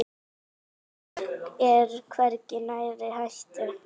Ragnar er hvergi nærri hættur.